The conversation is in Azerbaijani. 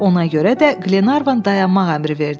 Ona görə də Qlenarvan dayanmaq əmri verdi.